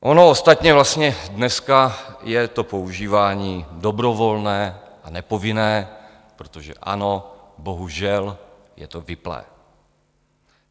Ono ostatně vlastně dneska je to používání dobrovolné a nepovinné, protože ano, bohužel, je to vypnuté.